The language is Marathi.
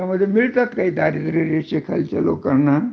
त्याच्यामध्ये मिळतात दारीद्रय रेषेखालील लोकांना